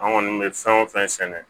An kɔni bɛ fɛn o fɛn sɛnɛ